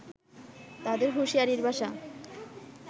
তাদের হুঁশিয়ারির ভাষা